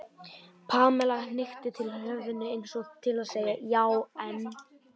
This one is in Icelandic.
Pamela hnykkti til höfðinu eins og til að segja já, en.